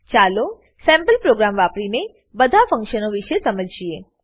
ચાલો sample programme વાપરીને બધા ફ્ન્ક્શનો વિષે સમજીએ